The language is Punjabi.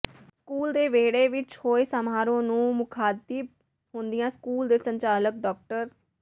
ਸਕੂਲ ਦੇ ਵਿਹੜੇ ਵਿੱਚ ਹੋਏ ਸਮਾਰੋਹ ਨੂੰ ਮੁਖਾਤਿਬ ਹੁੰਦਿਆਂ ਸਕੂਲ ਦੇ ਸੰਚਾਲਕ ਡਾ